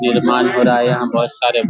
निर्माण हो रहा यहाँ बोहोत सारे --